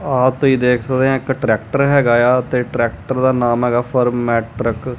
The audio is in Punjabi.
ਆ ਤੁਸੀਂ ਦੇਖ ਸਕਦੇ ਆ ਇੱਕ ਟਰੈਕਟਰ ਹੈਗਾ ਆ ਤੇ ਟਰੈਕਟਰ ਦਾ ਨਾਮ ਹੈਗਾ ਫਰਮੈਟਰਕ ।